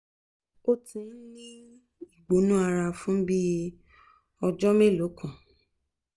ó ti ń ní ìgbóná fún bí i ọjọ́ mélòó kan